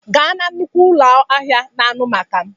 Gaa na nnukwu ụlọ ahịa na anụ maka m